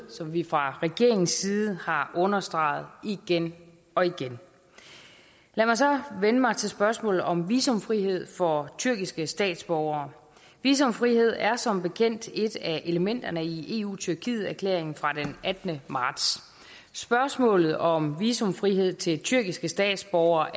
som vi fra regeringens side har understreget igen og igen lad mig så vende mig til spørgsmålet om visumfrihed for tyrkiske statsborgere visumfrihed er som bekendt et af elementerne i eu tyrkiet erklæringen fra den attende marts spørgsmålet om visumfrihed til tyrkiske statsborgere